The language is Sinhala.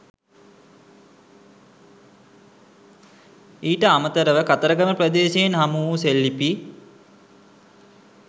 ඊට අමතරව කතරගම ප්‍රදේශයෙන් හමුවු සෙල්ලිපි